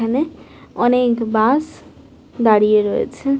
এখানে অনেক বাস দাঁড়িয়ে রয়েছে।